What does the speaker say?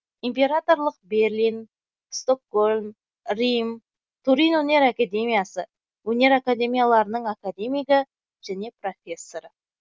императорлық берлин стокгольм рим турин өнер академиясы өнер академияларының академигі және профессоры